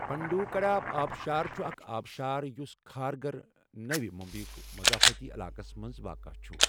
پنڈوکَڑا آبشار چھُ اکھ آبشار یُس کھارگھر، نٔوِی مُمبٮٔیٕک مضافٲتی علاقَس منٛز واقعہ چھُ۔